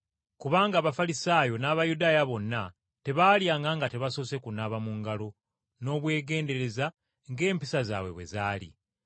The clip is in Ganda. Kubanga Abafalisaayo n’Abayudaaya bonna tebaalyanga nga tebasoose kunaaba mu ngalo n’obwegendereza ng’empisa zaabwe bwe zaali.